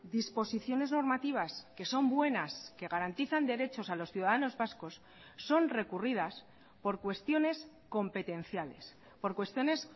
disposiciones normativas que son buenas que garantizan derechos a los ciudadanos vascos son recurridas por cuestiones competenciales por cuestiones